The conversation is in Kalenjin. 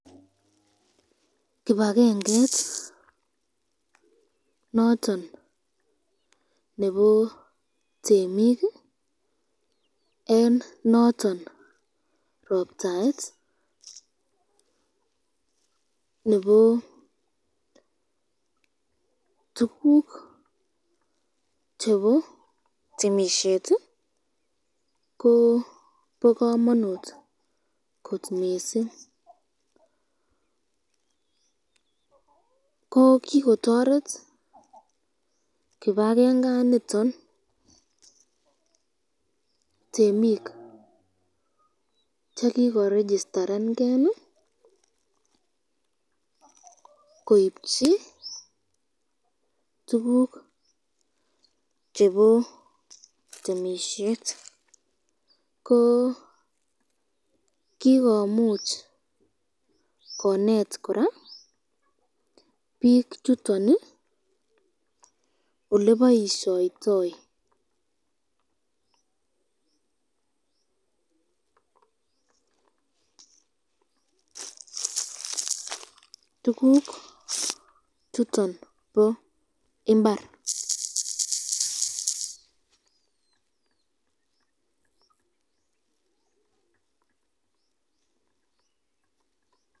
Kibagenget niton Nebo temik en noton robtaet Nebo tuguk chebo temishet kobakamanut kot mising ko kikotaret kibagenganiton temik chekirigistan gei koibchi tuguk chebo temishet ko kikomuch konet koraa bik chuton olekibaishoitoi tuguk chuton ba imbar